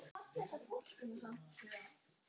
Hvert fór hann?